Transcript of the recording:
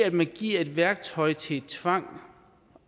at man giver et værktøj til tvang